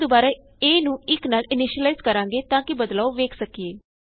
ਅਸੀਂ ਦੁਬਾਰਾ a ਨੂੰ 1 ਨਾਲ ਇਨੀਸ਼ਿਲਾਈਜ਼ ਕਰਾਂਗੇ ਤਾਂ ਕਿ ਬਦਲਾਉ ਵੇਖ ਸਕੀਏ